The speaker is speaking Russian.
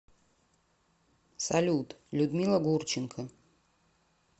салют людмила гурченко